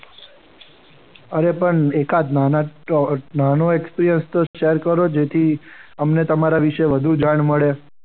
અરે પણ એકાદ નાનો experience share કરો કે જેથી અમને તમારા વિશે વધુ જાણ મળે.